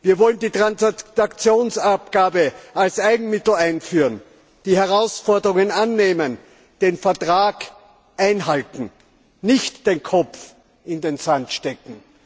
Wir wollen die Transaktionsabgabe als Eigenmittel einführen, die Herausforderungen annehmen, den Vertrag einhalten, nicht den Kopf in den Sand stecken.